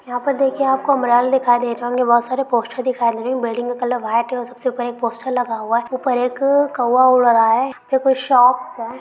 यहां पर देखिए आपको उम्ब्रेल उम्ब्रेला दिखाई दे रहे होंगे बहुत सारे पोस्टर दिखाई दे रहे बिल्डिंग का कलर व्हाइट और सबसे ऊपर एक पोस्टर लगा हुआ ऊपर एक कौवा उड़ा रहा है फिर कोई शौप हे।